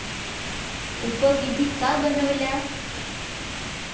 उपविधी का बनवल्या?